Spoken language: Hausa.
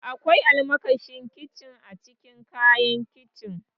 Akwai almakashin kincin a cikin kayan kicin.